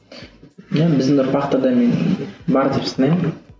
иә біздің ұрпақта да мен бар деп санаймын